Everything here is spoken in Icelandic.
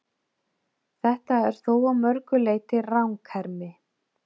Þetta er þó að mörgu leyti ranghermi.